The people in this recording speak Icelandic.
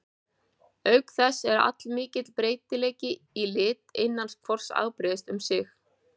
Auk þess er allmikill breytileiki í lit innan hvors afbrigðis um sig.